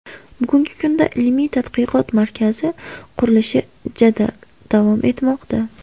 Bugungi kunda ilmiy-tadqiqot markazi qurilishi jadal davom etmoqda.